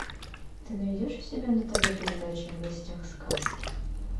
ты найдешь у себя на тв передачу в гостях сказки